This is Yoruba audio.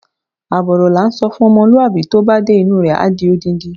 Àbọ̀ ọ̀rọ̀ la ńsọ fún ọmọlúwàbí, tó bá dé inú u rẹ̀, á di odindi.